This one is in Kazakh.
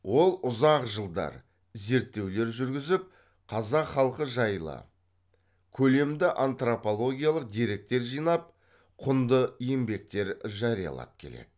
ол ұзақ жылдар зерттеулер жүргізіп қазақ халқы жайлы көлемді антропологиялық деректер жинап құнды еңбектер жариялап келеді